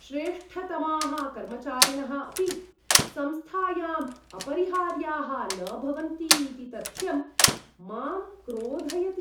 श्रेष्ठतमाः कर्मचारिणः अपि संस्थायाम् अपरिहार्याः न भवन्ति इति तथ्यं मां क्रोधयति।